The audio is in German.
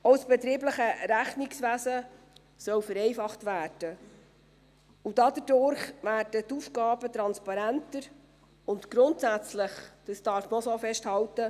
Auch das betriebliche Rechnungswesen soll vereinfacht werden, und dadurch werden die Aufgaben transparenter und grundsätzlich auch einfacher, das darf man auch so festhalten.